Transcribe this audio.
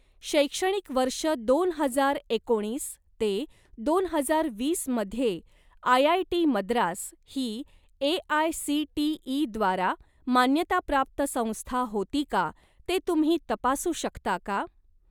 शैक्षणिक वर्ष दोन हजार एकोणीस ते दोन हजार वीस मध्ये आयआयटी मद्रास ही ए.आय.सी.टी.ई.द्वारा मान्यताप्राप्त संस्था होती का ते तुम्ही तपासू शकता का?